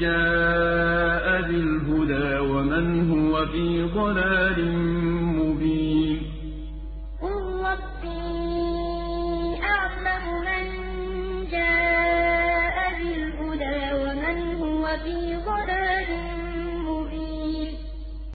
جَاءَ بِالْهُدَىٰ وَمَنْ هُوَ فِي ضَلَالٍ مُّبِينٍ إِنَّ الَّذِي فَرَضَ عَلَيْكَ الْقُرْآنَ لَرَادُّكَ إِلَىٰ مَعَادٍ ۚ قُل رَّبِّي أَعْلَمُ مَن جَاءَ بِالْهُدَىٰ وَمَنْ هُوَ فِي ضَلَالٍ مُّبِينٍ